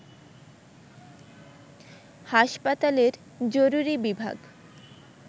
হাসপাতালের জরুরি বিভাগ